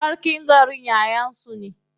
Sarkin garin yayan su ne.